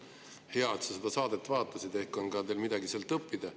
Hea, et sa seda saadet vaatasid, ehk on teil sealt ka midagi õppida.